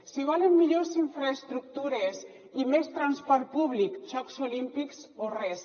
si volen millors infraestructures i més transport públic jocs olímpics o res